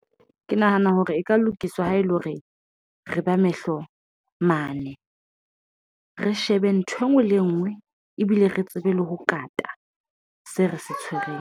Ke nahana hore e ka lokiswa ha ele hore re ba mehlo mane re shebe ntho engwe le ngwe ebile re tsebe le ho kata se re tshwereng.